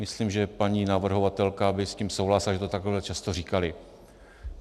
Myslím, že paní navrhovatelka by s tím souhlasila, že to takhle často říkali.